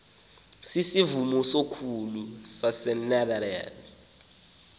sisivumo sokholo sasenederland